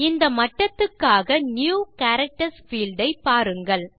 இந்த மட்டத்துக்கான new characters field ஐ பாருங்கள்